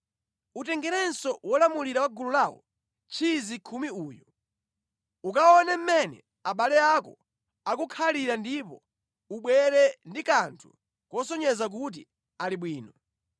Utengerenso wolamulira wa gulu lawo tchizi khumi uyu. Ukaone mmene abale ako akukhalira ndipo ubwere ndi kanthu kosonyeza kuti ali bwino.